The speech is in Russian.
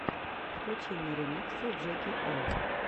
включи мне ремиксы джеки о